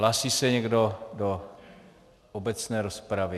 Hlásí se někdo do obecné rozpravy?